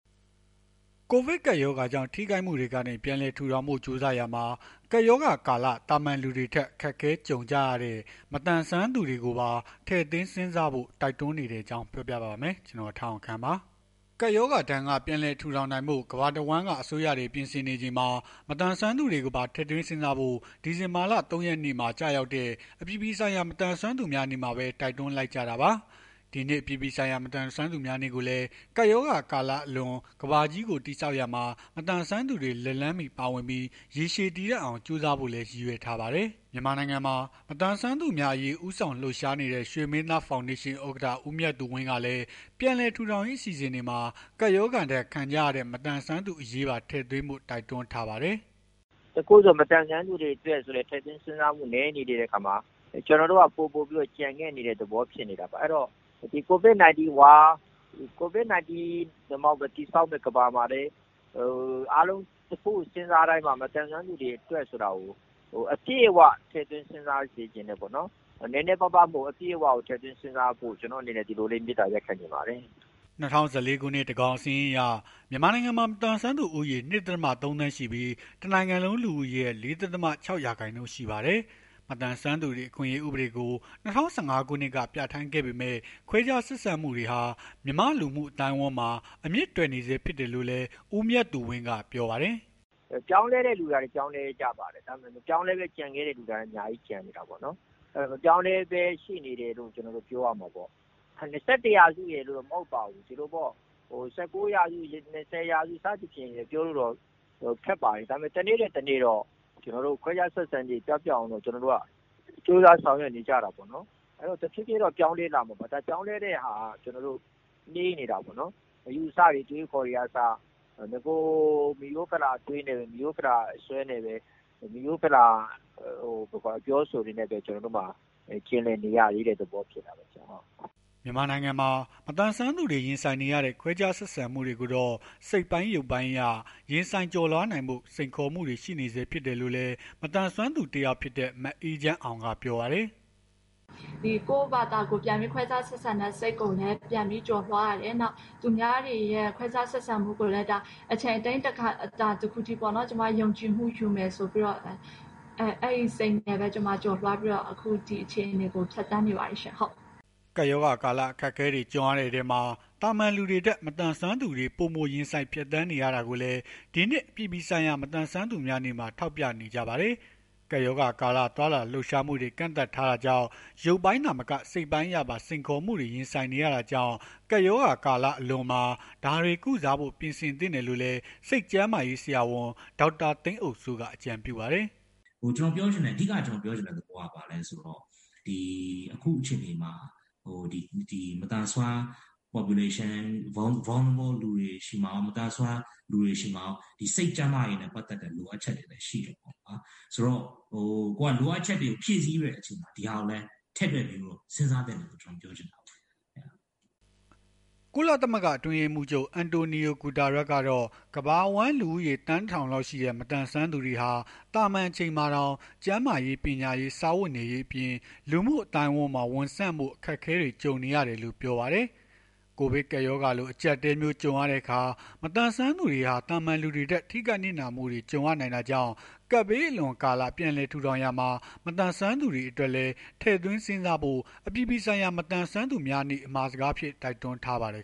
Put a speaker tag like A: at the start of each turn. A: ကိုဗစ်ကပ်ရောဂါကြောင့် ထိခိုက်မှုတွေကနေ ပြန်လည်ထူထောင်ဖို့ ကြိုးစားရာမှာ ကပ်ရောဂါကာလ သာမာန်လူတွေထက် အခက်အခဲ ကြုံကြရတဲ့ မသန်စွမ်းသူတွေအရေးကိုပါ ထည့်သွင်းစဉ်းစားဖို့ တိုက်တွန်းနေတဲ့အကြောင်းကို ဗွီအိုအေမြန်မာပိုင်း သတင်းထောက် ကိုထက်အောင်ခန့်က ပြောပြပေးပါမယ်။ ကပ်ရောဂါဒဏ်က ပြန်လည်ထူထောင်နိုင်ဖို့ ကမ္ဘာတဝန်းအစိုးရတွေ ပြင်ဆင်နေချိန်မှာ မသန်စွမ်းသူတွေကိုပါ ထည့်သွင်းစဉ်းစားဖို့ ဒီဇင်ဘာလ ၃ ရက်နေ့မှာ ကျရောက်တဲ့ အပြည်ပြည်ဆိုင်ရာ မသန်စွမ်းသူများနေ့မှာပဲ တိုက်တွန်းလိုက်ကြတာပါ။ ဒီနှစ် အပြည်ပြည်ဆိုင်ရာ မသန်စွမ်းသူများနေ့ကိုလည်း ကပ်ရောဂါကာလအလွန် ကမ္ဘာကြီးကို တည်ဆောက်ရာမှာ မသန်စွမ်းသူတွေ လက်လှမ်းမီ ပါဝင်ပြီး ရေရှည်တည်တံ့အောင် ကြိုးစားဖို့လည်း ရည်ရွယ်ထားပါတယ်။ မြန်မာနိုင်ငံမှာ မသန်စွမ်းသူများအရေး ဦးဆောင်လှုပ်ရှားနေတဲ့ ရွှေမင်းသား ဖောင်ဒေးရှင်း ဥက္ကဋ္ဌ ဦးမြတ်သူဝင်းကလည်း ပြန်လည်ထူထောင်ရေး အစီအစဉ်တွေမှာ ကပ်ရောဂါဒဏ် ခံကြရတဲ့ မသန်စွမ်းသူတွေအရေး ထည့်သွင်းဖို့ တိုက်တွန်းထားပါတယ်။
B: “တခုခုဆို မသန်စွမ်းသူတွေအတွက် ထည့်သွင်းစဉ်းစားပေးဖို့ နည်းနေတဲ့အခါမှာ ကိုဗစ် ၁၉ အလွန် တည်ဆောက်မယ့် ကမ္ဘာမှာလည်း အားလုံး တခုခုစဉ်းစားတိုင်းမှာ မသန်စွမ်းသူတွေအတွက် အပြည့်အ၀ ထည့်သွင်း စဉ်းစားစေချင်တယ်ပေါ့နော်။ နည်းနည်းမဟုတ်ဘဲ အပြည့်အ၀ ထည့်သွင်းစဉ်းစားပေးဖို့ ကျနော့်အနေနဲ့ မေတ္တာ ရပ်ခံချင်ပါတယ်။
A: ” ၂၀၁၄ ခုနှစ် သန်းခေါင်စာရင်းအရ မြန်မာနိုင်ငံမှာ မသန်စွမ်းသူဦးရေ ၂.၃ သန်းရှိပြီး တနိုင်ငံလုံး လူဦးရေရဲ့ ၄.၆ ရာခိုင်နှုန်း ရှိပါတယ်။ မသန်စွမ်းသူတွေအခွင့်အရေး ဥပဒေကို ၂၀၁၅ ခုနှစ်က ပြဌာန်းခဲ့ပေမဲ့ ခွဲခြားဆက်ဆံမှုတွေဟာ မြန်မာ့လူမှုအသိုင်းအဝန်းမှာ အမြစ်တွယ်နေဆဲ ဖြစ်တယ်လို့လည်း ဦးမြတ်သူဝင်းက ပြောပါတယ်
B: ။ “ပြောင်းလဲတဲ့သူတွေကလည်း ပြောင်းလဲကြပါတယ်။ ဒါပေမဲ့ မပြောင်းလဲဘဲ ကျန်နေတဲ့သူတွေကလည်း ကျန်နေကြတာပေါ့နော်။ မပြောင်းလဲဆဲရှိနေတယ်လို့ ကျနော်တို့ ပြောရမှာပေါ့။ ၂၁ ရာစုရယ်လို့တော့ မဟုတ်ပါဘူး။ ဒီလိုပေါ့။ ၁၉ ရာစု ၂၀ ရာစုဆိုပြီး ပြောဖို့တော့ ခက်ပါတယ်။ ဒါပေမဲ့ တနေ့ထက် တနေ့တော့ ခွဲခြား ဆက်ဆံခြင်းတွေ ပျောက်ပျက်အောင် ကျနော်တို့က ကြိုးစားဆောင်ရွက်နေကြတာပေါ့နော်။ တဖြေးဖြေးတော့ ပြောင်းလဲလာမှာပေါ့နော်။ ပြောင်းလဲတဲ့ဟာက နှေးနေတာပေါ့နော်။ အယူအဆတွေ အတွေး အခေါ်တွေကအစ ဖိရိုးဖလာအတွေး မိရိုးဖလာ အစွဲနဲ့ပဲ မိရိုးဖလာ အပြောအဆိုတွေနဲ့ပဲ ကျွန်တော်တို့မှာ ကျင်လည်နေရသေးတဲ့ သဘောဖြစ်တာပေါ့နော်။
A: ” မြန်မာနိုင်ငံမှာ မသန်စွမ်းသူတွေ ရင်ဆိုင်နေရတဲ့ ခွဲခြားဆက်ဆံမှုတွေကိုတော့ စိတ်ပိုင်း၊ ရုပ်ပိုင်းအရ ရင်ဆိုင်ကျော်လွှားနိုင်ဖို့ စိန်ခေါ်မှုတွေ ရှိနေဆဲ ဖြစ်တယ်လို့လည်း မသန်စွမ်းသူ တယောက်ဖြစ်တဲ့ မအေးချမ်းအောင်က ပြောပါတယ်
B: ။ “ကိုယ့်ဘာသာ ခွဲခြားဆက်ဆံတဲ့ စိတ်ကိုလည်း ပြန်ပြီးကျော်လွှားရတယ်။ သူများတွေရဲ့ခွဲခြားဆက်ဆံမှုကိုလည်း အချိန်အတိုင်းအတာတခုထိ ကျမ ယုံကြည်မှုယူမယ်ဆိုပြီးတော့ပေါ့ အဲ့ဒီစိတ်နဲ့ပဲ ကျမ ကျော်လွှားပြီး ဒီအခြေအနေကို ဖြတ်သန်းနေတယ်ပေါ့။”
A: ကပ်ရောဂါကာလ အခက်အခဲတွေ ကြုံရတဲ့အထဲမှာ သာမာန်လူတွေထက် မသန်စွမ်းသူတွေ ပိုမိုရင်ဆိုင်ဖြတ်သန်းနေရတာကိုလည်း ဒီနှစ် အပြည်ပြည်ဆိုင်ရာ မသန်စွမ်းသူများနေ့မှာ ထောက်ပြနေကြပါတယ်။ ကပ်ရောဂါကာလ သွားလာလှုပ်ရှားမှုတွေ ကန့်သတ်ထားတာကြောင့် ရုပ်ပိုင်း သာမက စိတ်ပိုင်းအရပါ စိန်ခေါ်မှုတွေ ရင်ဆိုင်နေရတာကြောင့် ကပ်ရောဂါလွန်ကာလမှာ ဒါတွေကို ကုစားဖို့ ပြင်ဆင်သင့်တယ်လို့လည်း စိတ်ကျန်းမာရေး ဆရာဝန် ဒေါက်တာ သိန်းအုပ်စိန်က အကြံပြုပါတယ်။ “အဓိက ကျနော်ပြောချင်တဲ့ သဘောက မသန်စွမ
B: ်း Population၊ မသန်စွမ်းလူတွေဆီမှာကော စိတ်ကျန်းမာရေးနဲ့ ပတ်သက်တဲ့ လိုအပ်ချက်တွေ ရှိနေတယ်။ လိုအပ်ချက်တွေကို ဖြည့်ဆည်းတဲ့အချိန်မှာ ဒီဟာကိုလည်း ထည့်သွင်း စဉ်းစားသင့်တယ်လို့ ကျနော်ထင်တယ်။”
A: ကုလသမဂ္ဂ အတွင်းရေးမှူးချုပ် အန်တိုနီယို ဂုတားရပ်စ် ကတော့ ကမ္ဘာအဝန်း လူဦးရေ သန်း ၁,၀၀၀ လောက်ရှိတဲ့ မသန်စွမ်းသူတွေဟာ သာမန် အချိန်မှာတောင် ကျန်းမာရေး၊ ပညာရေး၊ စားဝတ်နေရေးအပြင် လူမှုအသိုင်းဝန်းမှာ ဝင်ဆန့်ဖို့ အခက်အခဲတွေ ကြုံနေရတယ်လို့ ပြောပါတယ်။ ကိုဗစ်ကပ်ရောဂါလို အကြပ်အတည်းမျိုး ကြုံရတဲ့အခါ မသန်စွမ်းသူတွေဟာ သာမာန်လူတွေထက် ထိခိုက်နစ်နာမှုတွေ ကြုံရနိုင်တာကြောင့် ကပ်ဘေးအလွန်ကာလ ပြန်လည်ထူထောင်ရာမှာ မသန်စွမ်းသူတွေအတွက်လည်း ထည့်သွင်းစဉ်းစားဖို့ အပြည်ပြည်ဆိုင်ရာ မသန်စွမ်းသူများနေ့ အမှာစကားအဖြစ် တိုက်တွန်းထားပါတယ်